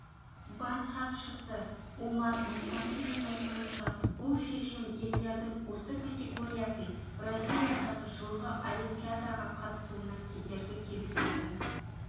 бас хатшысы омар мұстафиннің айтуынша бұл шешім елдердің осы категориясын бразилиядағы жылғы олимпиадаға қатысуына кедергі келтіретін